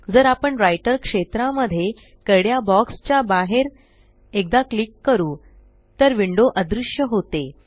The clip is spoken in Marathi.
जर आपण राइटर क्षेत्रा मध्ये करड्या बॉक्स च्या बाहेर एकदा क्लिक करू तर विंडो अदृश्य होते